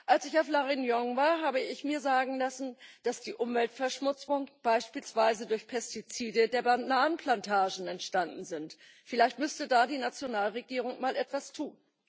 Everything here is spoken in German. Als ich auf La Réunion war, habe ich mir sagen lassen, dass die Umweltverschmutzung beispielsweise durch Pestizide der Bananenplantagen entstanden ist. Vielleicht müsste da die Nationalregierung mal etwas tun.